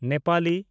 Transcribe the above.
Nepali